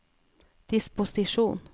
disposisjon